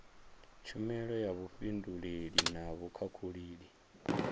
tshumelo ya vhufhinduleli na vhukhakhulili